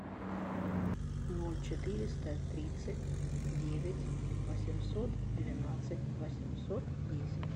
ноль четыреста тридцать девять восемьсот двенадцать восемьсот десять